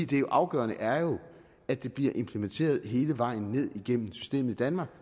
det afgørende er jo at det bliver implementeret hele vejen ned igennem systemet i danmark